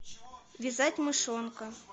вязать мышонка